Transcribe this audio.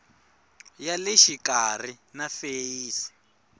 ya le xikarhi na feyisi